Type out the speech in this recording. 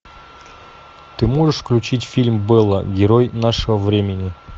ты можешь включить фильм бэла герой нашего времени